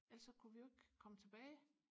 ellers så kunne vi jo ikke komme tilbage